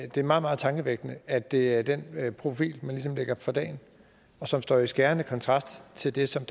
det er meget meget tankevækkende at det er den profil man ligesom lægger for dagen og som står i skærende kontrast til det som